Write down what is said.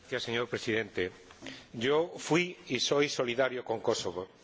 Señor Presidente, yo fui y soy solidario con Kosovo.